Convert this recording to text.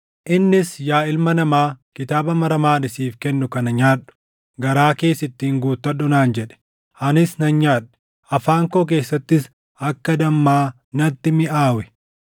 Innis, “Yaa ilma namaa, kitaaba maramaa ani siif kennu kana nyaadhu; garaa kees ittiin guuttadhu” naan jedhe. Anis nan nyaadhe; afaan koo keessattis akka dammaa natti miʼaawe.